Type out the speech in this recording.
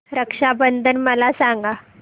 रक्षा बंधन मला सांगा